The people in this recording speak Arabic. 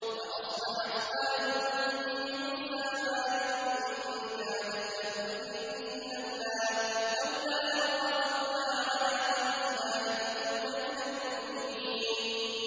وَأَصْبَحَ فُؤَادُ أُمِّ مُوسَىٰ فَارِغًا ۖ إِن كَادَتْ لَتُبْدِي بِهِ لَوْلَا أَن رَّبَطْنَا عَلَىٰ قَلْبِهَا لِتَكُونَ مِنَ الْمُؤْمِنِينَ